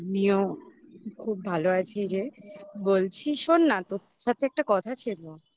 আমিও খুব ভালো আছি রে বলছি শোন না তোর সাথে একটা কথা ছিল